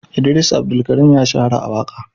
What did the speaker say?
Idris Abdulkarim ya shahara a waƙa.